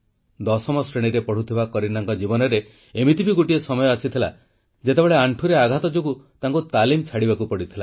ଦଶମ ଶ୍ରେଣୀରେ ପଢ଼ୁଥିବା କରୀନାଙ୍କ ଜୀବନରେ ଏମିତି ବି ଗୋଟିଏ ସମୟ ଆସିଥିଲା ଯେତେବେଳେ ଆଣ୍ଠୁରେ ଆଘାତ ଯୋଗୁଁ ତାଙ୍କୁ ତାଲିମ ଛାଡ଼ିବାକୁ ପଡ଼ିଥିଲା